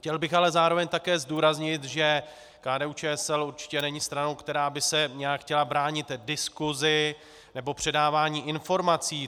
Chtěl bych ale zároveň také zdůraznit, že KDU-ČSL určitě není stranou, která by se nějak chtěla bránit diskusi nebo předávání informací.